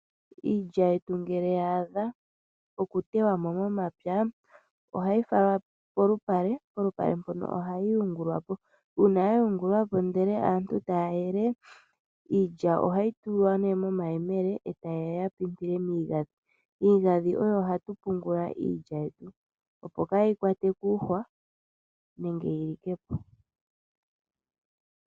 Iilya yetu ngele yaadha okutewamo momapya ohayi falwa polupale polupale mpono ohayi yungulwapo uuna yayungulwapo ndele aantu taya yele iilya ohayi tulwa ne momayemele eta yeya yapimpile miigadhi. Iigadhi oyo hatu pungula iilya yetu opo kayi kwatwe kuuhwa nenge yilikepo.